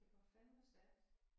Det går fandeme stærkt